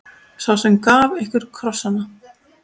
Sá sem gaf ykkur krossana.